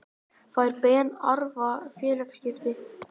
Fær Ben Arfa félagaskipti?